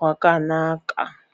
wakanaka.